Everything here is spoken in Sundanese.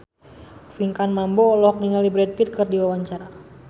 Pinkan Mambo olohok ningali Brad Pitt keur diwawancara